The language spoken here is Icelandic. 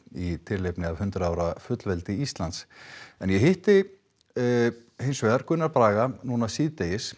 í tilefni af hundrað ára fullveldi Íslands en ég hitti Gunnar Braga núna síðdegis